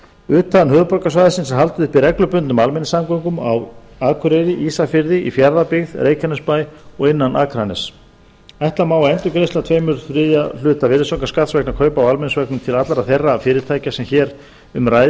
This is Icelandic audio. utan höfuðborgarsvæðisins er haldið uppi reglubundnum almenningssamgöngum á akureyri ísafirði fjarðabyggð reykjanesbæ og innan akraness utan höfuðborgarsvæðisins er haldið uppi reglubundnum almenningssamgöngum á akureyri ísafirði í fjarðabyggð reykjanesbæ og innan akraness ætla má að endurgreiðsla tveir þriðju hluta virðisaukaskatts vegna kaupa á almenningsvögnum til allra þeirra fyrirtækja sem hér um ræðir